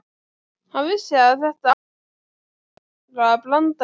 Hann vissi að þetta átti að vera brandari.